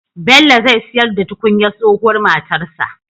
Bello zai siyar da tukunyar tsohuwar matarsa